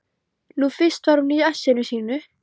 Nú fyrst var hún í essinu sínu.